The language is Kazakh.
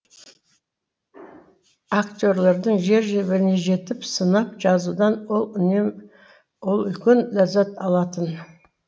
актерлердің жер жебіріне жетіп сынап жазудан ол үлкен ләззат алатын